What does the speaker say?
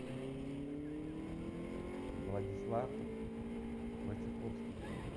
владислав войцеховский